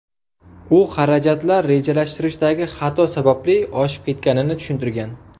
U xarajatlar rejalashtirishdagi xato sababli oshib ketganini tushuntirgan.